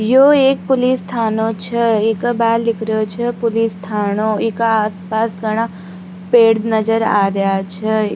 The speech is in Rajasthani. यो एक पुलिस थानों छे इक बारे लिख रहयो छे पुलिस थानों इक आस पास घणा पेड़ नजर आ रिया छे।